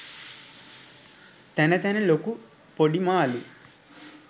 තැන තැන ලොකු පොඩි මාළු